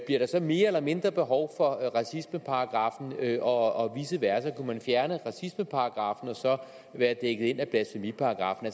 bliver der så mere eller mindre behov for racismeparagraffen og vice versa kunne man fjerne racismeparagraffen og så være dækket ind af blasfemiparagraffen